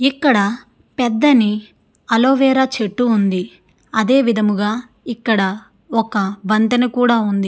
ఇక్కడ పెద్ధని అలోవీర చెట్టు ఉంది అదే విధముగా ఇక్కడ ఒక వంతెన కూడా ఉంది.